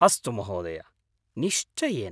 अस्तु महोदय, निश्चयेन।